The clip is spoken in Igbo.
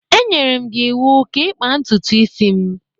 E nyere m gị iwu ka ị kpaa ntutu isi m!